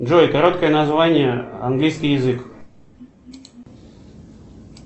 джой короткое название английский язык